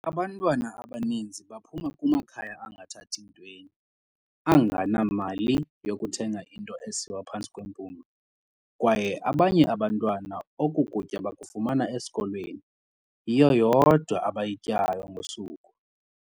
"Abantwana abaninzi baphuma kumakhaya angathathi ntweni, angenamali yokuthenga into esiwa phantsi kwempumlo, kwaye abanye abantwana oku kutya bakufumana esikolweni, yiyo yodwa abayityayo ngosuku."